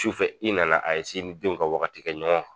Sufɛ i nana a i ni denw ka wagati kɛ ɲɔɔn